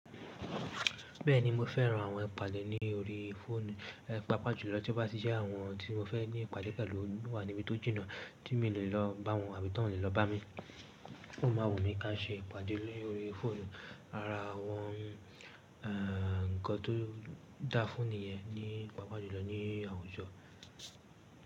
Bẹ́ẹ̀ni mo fẹ́ran àwọn ìpàdé ní orí fóònù. Ẹ̀ pápa jùlọ tí ó bá sì jẹ́ àwọn tí mo fẹ́ ní ìpàdé pẹ̀lú wà níbi tó jìnnà tí mi o le lọ bá wọn àbí tí wọ́n le lọ bá mi. Ó ma wù mí ká ṣe ìpàdé lórí fóònù árá àwọn ẹ̀ nǹkan tó da fúnni yẹn nípa pàjùlọ ní àwùjọ.